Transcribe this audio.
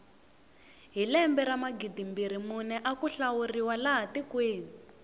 hi lembe ra magidimbirhi mune aku hlawuriwa laha tikweni